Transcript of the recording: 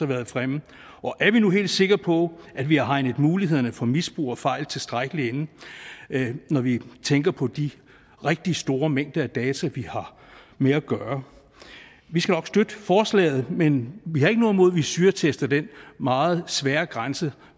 været fremme og er vi nu helt sikre på at vi har hegnet mulighederne for misbrug og fejl tilstrækkeligt inde når vi tænker på de rigtig store mængder af data vi har med at gøre vi skal nok støtte forslaget men vi har ikke noget imod at vi syretester den meget svære grænse